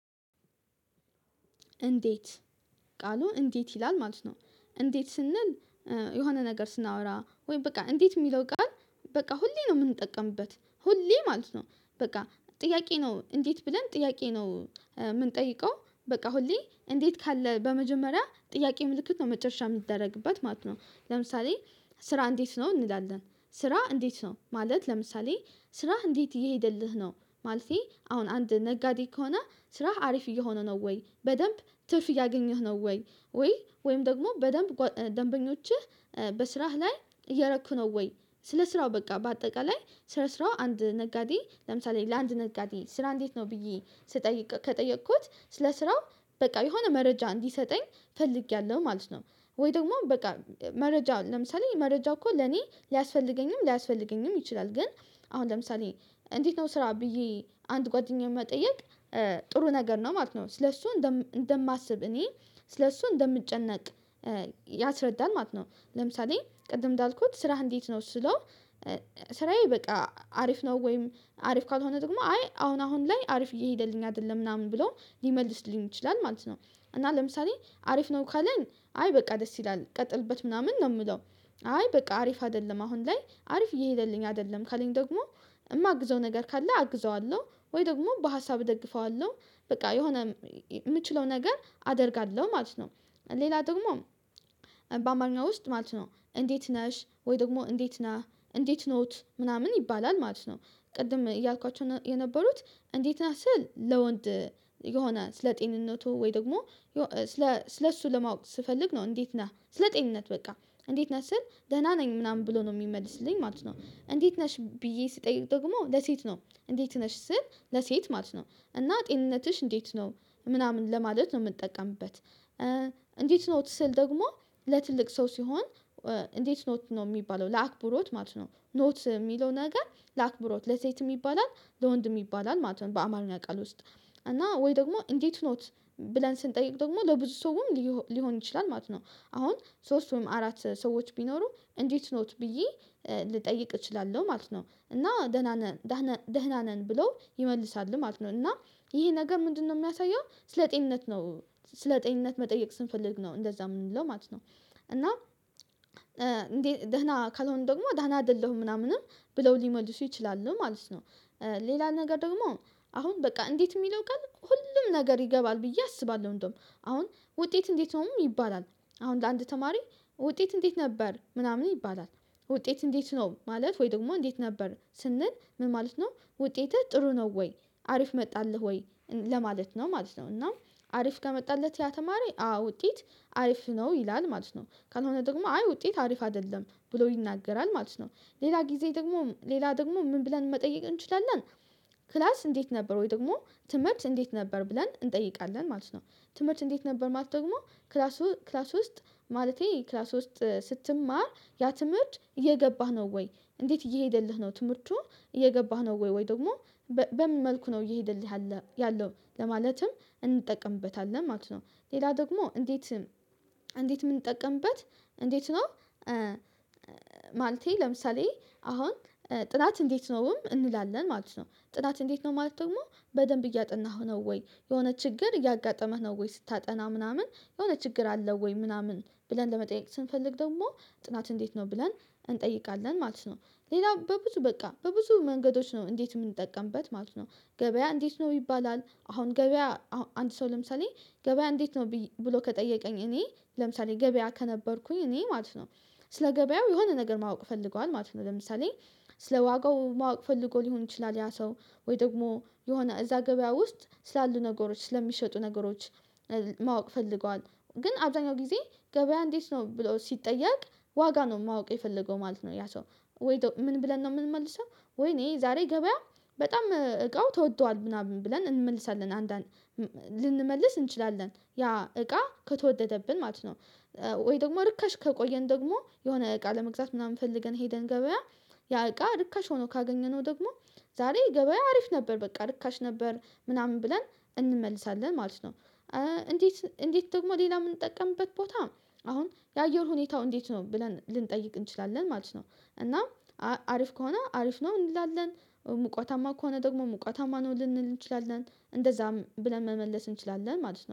እንዴት ቃሉ እንዴት ይላል ማለት ነው እንዴት ስንል የሆነ ነገር ስናወራ ወይ በቃ እንዴት የሚለው ቃል በቃ ሁሌ ነው የምንጠቀምበት ሁሌ ማለት ነው። በቃ ጥያቄ ነው እንዴት ብለን ጥያቄ ነው የምንጠይቀው በቃ ሁሌ እንዴት ካለ በመጀመሪያ ጥያቄ ምልክት ነው መጨረሻ የሚደረግበት ማለት ነው ለምሳሌ ስራ እንዴት ነው እንላለን ስራ እንዴት ነው ማለት ለምሳሌ ስራህ እንዴት እየሄደልህ ነው። ማለቴ አሁን አንድ ነጋዴ ከሆነ ስራህ አሪፍ እየሆነ ነው ወይ በደንብ ትርፍ እያገኘህ ነው ወይ ወይ ወይም ደግሞ በደንብ ደንበኞችህ በስራህ ላይ እየረኩ ነው ወይ ስለ ስራው በቃ በአጠቃላይ ስለ ስራው አንድ ነጋዴ ለምሳሌ ለአንድ ነጋዴ ስራ እንዴት ነው ብዬ ስጠይቅ ከጠየኩት ስለ ስራው በቃ የሆነ መረጃ እንዲሰጠኝ ፈልጌያለሁ ማለት ነው ወይ ደግሞ በቃ መረጃው ለምሳሌ መረጃው እኮ ለኔ ሊያስፈልገኝም ሊያስፈልገኝም ይችላል ግን አሁን ለምሳሌ እንዴት ነው ስራ ብዬ አንድ ጓደኛዬን መጠየቅ ጥሩ ነገር ነው ማለት ነው ለሱ እንደማስብ እኔ ስለሱ እንደምጨነቅ ያስረዳናል ማለት ነው ለምሳሌ ቅድም እንዳልኩት ስራህ እንዴት ነው ስለው ስራዬ በቃ አሪፍ ነው ወይም አሪፍ ካልሆነ ደግሞ አይ አሁን አሁን ላይ አሪፍ እየሄደልኝ አይደለም ምናምን ብሎ ሊመልስልኝ ይችላል። ማለት ነው እና ለምሳሌ አሪፍ ነው ካለን አይ በቃ ደስ ይላል ቀጥልበት ምናምን ነው የምለው አይ በቃ አሪፍ አይደለም አሁን ላይ አሪፍ እየሄደልኝ አይደለም ካለኝ ደግሞ የማግዘው ነገር ካለ አግዘዋለሁ ወይ ደግሞ በሀሳብ እደግፈዋለሁ በቃ የሆነ የምችለው ነገር አደርጋለሁ ማለት ነው። ሌላ ደግሞ በአማርኛ ውስጥ ማለት ነው እንዴት ነሽ ወይ ደግሞ እንዴት ነህ እንዴት ኖት ምናምን ይባላል ማለት ነው ቅድም እያልኳቸው የነበሩት እንዴት ናት ስል ለወንድ የሆነ ስለጤንነቱ ወይ ደግሞ ስለ ስለሱ ለማወቅ ስፈልግ ነው እንዴት ነህ ስለ ጤንነት በቃ እንዴት ነህ ስል ደህና ነኝ ምናምን ብሎ ነው የሚመልስልኝ ማለት ነው እንዴት ነሽ ብዬ ስጠይቅ ደግሞ ለሴት ነው እንዴት ነሽ ስል ለሴት ማለት ነው እና ጤንነትሽ እንዴት ነው ምናምን ለማለት ነው የምጠቀምበት እንዴት ኖት ስል ደግሞ ለትልቅ ሰው ሲሆን እንዴት ኖት ነው የሚባለው ለአክብሮት ማለት ነው። ኖት የሚለው ነገር ለአክብሮት ለሴት የሚባላል ለወንድ የሚባላል ማለት ነው። በአማርኛ ቃል ውስጥ እና ወይ ደግሞ እንዴት ኖት ብለን ስንጠይቅ ደግሞ ለብዙ ሰውም ሊሆን ይችላል ማለት ነው አሁን ሶስት ወይም አራት ሰዎች ቢኖሩ እንዴት ኖት ብዬ ልጠይቅ እችላለሁ ማለት ነው። ደህና ነን ደህና ነን ብለው ይመልሳሉ ማለት ነው እና ይሄ ነገ ምንድነው የሚያሳየው ስለ ጤንነት ነው ስለ ጤንነት መጠየቅ ስንፈልግ ነው እንደዛ የምንለው ማለት ነው። እና እንዴት ደህና ካልሆነ ደግሞ ደህና አይደለሁም ምናምንም ብለው ሊመልሱ ይችላሉ ማለት ነው። ሌላ ነገር ደግሞ አሁን በቃ እንዴት የሚለው ቃል ሁሉም ነገር ይገባል ብዬ አስባለሁ እንደውም አሁን ውጤት እንዴት ነውም ይባላል አሁን ለአንድ ተማሪ ውጤት እንዴት ነበር ምናምን ይባላል ውጤት እንዴት ነው ማለት ወይ ደግሞ እንዴት ነበር ስንል ምን ማለት ነው ውጤትህ ጥሩ ነው ወይ አሪፍ መጣልህ ወይ ለማለት ነው ማለት ነው። እና አሪፍ ከመጣለት ያ ተማረ አዎ ውጤት አሪፍ ነው ይላል ማለት ነው። ካልሆነ ደግሞ አይ ውጤት አሪፍ አይደለም ብሎ ይናገራል። ማለት ነው ሌላ ጊዜ ደግሞ ሌላ ደግሞ ምን ብለን መጠየቅ እንችላለን ክላስ እንዴት ነበር ወይ ደግሞ ትምህርት እንዴት ነበር ብለን እንጠይቃለን ማለት ነው ትምህርት እንዴት ነበር ማለት ደግሞ ክላስ ክላስ ውስጥ ማለቴ ክላስ ውስጥ ስትማር ያ ትምህርት እየገባህ ነው ወይ እንዴት እየሄደልህ ነው ትምህርቱ እየገባህ ነው ወይ ወይ ደግሞ በምን መልኩ ነው እየሄደልህ ያለው ለማለትም እንጠቀምበታለን ማለት ነው ሌላ ደግሞ እንዴት እንዴት ምንጠቀምበት እንዴት ነው ለምሳሌ አሁን ጥናት እንዴት ነውም እንላለን ማለት ነው ጥናት እንዴት ነው ማለት ደግሞ በደንብ እያጠናህ ነው ወይ የሆነ ችግር እያጋጠመህ ነው ወይ ስታጠና ምናምን የሆነ ችግር አለው ወይ ምናምን ብለን ለመጠየቅ ስንፈልግ ደግሞ ጥናት እንዴት ነው ብለን እንጠይቃለን ማለት ነው ሌላ በብዙ በቃ በብዙ መንገዶች ነው እንዴት የምንጠቀምበት ማለት ነው ገበያ እንዴት ነው ይባላል አሁን ገበያ አንድ ሰው ለምሳሌ ገበያ እንዴት ነው ብሎ ከጠየቀኝ እኔ ለምሳሌ ገበያ ከነበርኩኝ እኔ ማለት ነው። ስለ ገበያው የሆነ ነገር ማወቅ ፈልገዋል ማለት ነው ለምሳሌ ስለ ዋጋው ማወቅ ፈልጎ ሊሆን ይችላል፤ ያ ሰው ወይ ደግሞ የሆነ እዛ ገበያ ውስጥ ስላሉ ነገሮች ስለሚሸጡ ነገሮች ማወቅ ፈልገዋል ግን አብዛኛው ጊዜ ገበያ እንዴት ነው ብሎ ሲጠየቅ ዋጋ ነው ማወቅ የፈለገው ማለት ነው ያ ሰው ወይ ምን ብለን ነው የምንመልሰው ወይኔ ዛሬ ገበያ በጣም እቃው ተወዷል። ምናምን ብለን እንመልሳለን አንዳንድ ልንመልስ እንችላለን ያ እቃ ከተወደደብን ማለት ነው ወይ ደግሞ ርካሽ ከቆየን ደግሞ የሆነ እቃ ለመግዛት ምናምን ፈልገን ሄደን ገበያ ያ እቃ ርካሽ ሆኖ ካገኘነው ደግሞ ዛሬ ገበያ አሪፍ ነበር በቃ ርካሽ ነበር ምናምን ብለን እንመልሳለን ማለት ነው። እንዴት እንዴት ደግሞ ሌላ የምንጠቀምበት ቦታ አሁን የአየር ሁኔታው እንዴት ነው ብለን ልንጠይቅ እንችላለን ማለት ነው እና አሪፍ ከሆነ አሪፍ ነው እንላለን ሙቀታማ ከሆነ ደግሞ ሙቀታማ ነው ልንል እንችላለን። እንደዛም ብለን መመለስ እንችላለን ማለት ነው